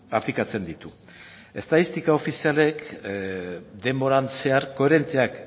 aplikatzen ditu estatistika ofizialek denboran zehar koherenteak